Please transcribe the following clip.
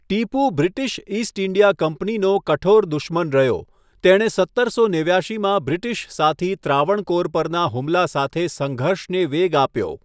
Tipu British East India કંપનીનો કઠોર દુશ્મન રહ્યો, તેણે સત્તરસો નેવ્યાશીમાં બ્રિટિશ સાથી ત્રાવણકોર પરના હુમલા સાથે સંઘર્ષને વેગ આપ્યો.